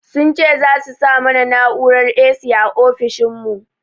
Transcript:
Sun ce za su sa mana na'urar 'A.C' a ofishin mu